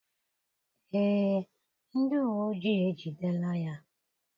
Ee, ndị uwe ojii ejidela ya.